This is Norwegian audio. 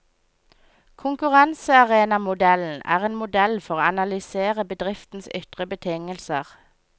Konkurransearenamodellen er en modell for å analysere bedriftens ytre betingelser.